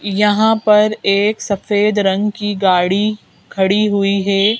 यहां पर एक सफेद रंग की गाड़ी खड़ी हुई है।